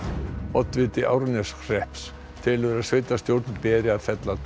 oddviti Árneshrepps telur að sveitarstjórn beri að fella